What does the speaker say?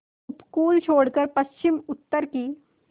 उपकूल छोड़कर पश्चिमउत्तर की